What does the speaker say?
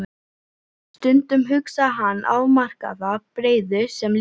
Stundum hugsaði hann afmarkaða breiðu sem lífið.